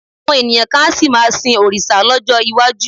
Àwọn ènìyàn kan á sì máa sin àwọn òrìṣà lọ́jọ́ iwájú